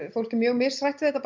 fólk er mjög mishrætt við þetta